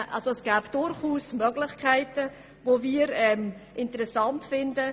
Es gäbe durchaus Möglichkeiten, die wir interessant fänden.